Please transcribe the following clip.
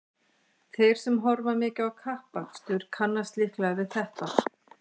Þeir sem horfa mikið á kappakstur kannast líklega við þetta.